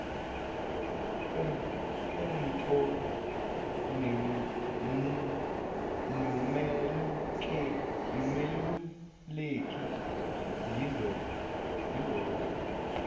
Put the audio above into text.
kwenpo nomeluleki yilobo